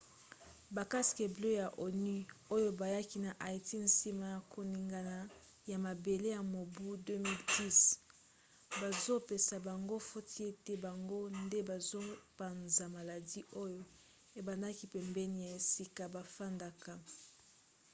ba casques bleus ya onu oyo bayaki na haïti nsima ya koningana ya mabele ya mobu 2010 bazopesa bango foti ete bango nde bazopanza maladi oyo ebendaka pembeni ya esika bafandaka